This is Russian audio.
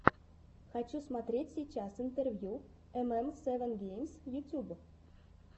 хочу смотреть сейчас интервью эм эм севен геймс ютюб